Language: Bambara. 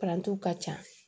Parantiw ka ca